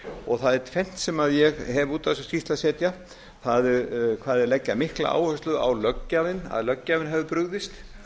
og það er tvennt sem ég hef út á þessa skýrslu að setja það er hve þeir leggja mikla áherslu á að löggjafinn hafi brugðist